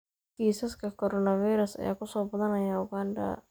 Kiisaska Coronavirus ayaa ku soo badanaya Uganda.